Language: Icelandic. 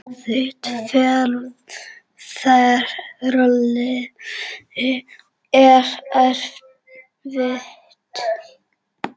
Þitt ferli er erfitt.